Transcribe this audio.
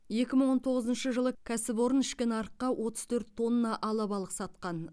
екі мың он тоғызыншы жылы кәсіпорын ішкі нарыққа отыз төрт тонна алабалық сатқан